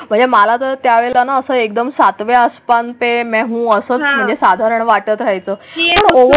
म्हणजे मला तर त्यावेळे असं एकदम सातवें आसमान ते मे हूँ असं म्हणजे साधारण वाटत राहायचं.